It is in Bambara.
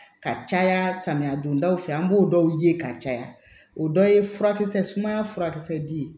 Ka caya samiya dondaw fɛ an b'o dɔw ye ka caya o dɔ ye furakisɛ sumaya furakisɛ di ye